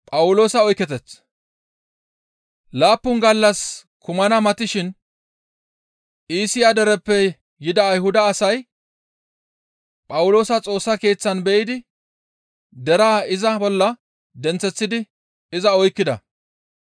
Laappun gallas kumana matishin Iisiya dereppe yida Ayhuda asay Phawuloosa Xoossa Keeththan be7idi deraa iza bolla denththeththidi iza oykkida.